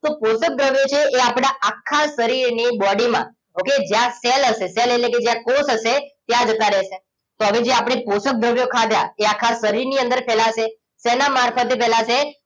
તો પોષક દ્રવ્યો છે એ આપણા આખા શરીર ની body માં okay જ્યાં cell હશે cell એટલે કે કોષ હશે ત્યાં જતા રહેશે તો હવે જે આપણે પોષક દ્રવ્યો ખાધા એ આખા શરીરની અંદર ફેલાશે શેના મારફતે ફેલાશે